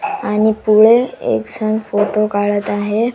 आणि पोरे एक संग फोटो काढत आहे.